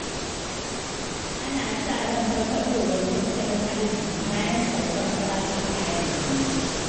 Ana sa ran farfaɗowar tattalin arziƙi, bayan saukar farashin kayan abinci.